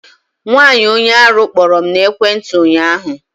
Nwaanyi onye arụ kpọrọ m na ekwentị ụnyaahụ